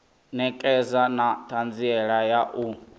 ṋekedza na ṱhanziela ya u